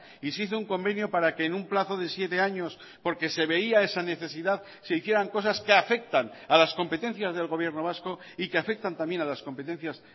y se hizo un convenio para que en un plazo de siete años porque se veía esa necesidad se hicieran cosas que afectan a las competencias del gobierno vasco y que afectan también a las competencias